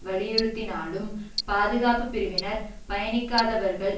வலியுறுத்தினாலும் பாதுகாப்பு பிரிவினர் பயணிக்காதவர்கள்